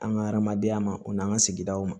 An ka hadamadenya ma o n'an ka sigidaw ma